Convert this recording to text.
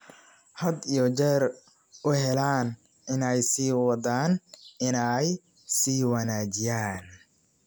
had iyo jeer u heellan inay sii wadaan inay sii wanaajiyaan.